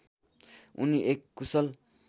उनी एक कुशल